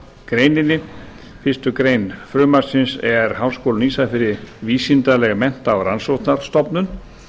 greininni fyrstu grein frumvarpsins er háskóli á ísafirði vísindaleg mennta og rannsóknarstofnun